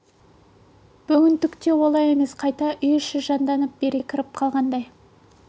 бүгін түк те олай емес қайта үй іші жанданып береке кіріп қалғандай